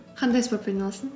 қандай спортпен айналыстың